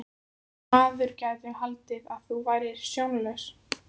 Maður gæti haldið að þú værir sjónlaus!